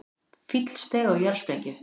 Fíll steig á jarðsprengju